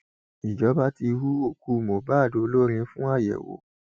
ìjọba ti hu òkú mohbad olórin fún àyẹwò